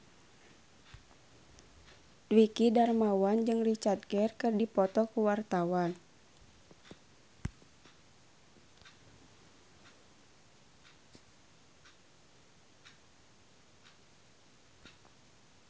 Dwiki Darmawan jeung Richard Gere keur dipoto ku wartawan